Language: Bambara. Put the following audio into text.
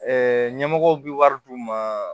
ɲɛmɔgɔw bɛ wari d'u ma